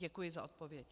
Děkuji za odpověď.